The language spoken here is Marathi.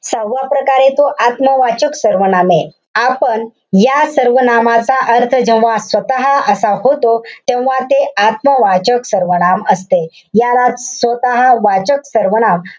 सहावा प्रकारे तो आत्मवाचक सर्वनामे. आपण या सर्वनामाचा अर्थ जेव्हा स्वतः असा होतो. तेव्हा ते आत्मवाचक सर्वनाम असते. यालाच स्वतःवाचक सर्वनाम,